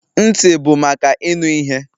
Ntị bụ maka ịnụ ihe.